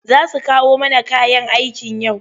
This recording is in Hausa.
Za su kawo mana kayan aikin yau?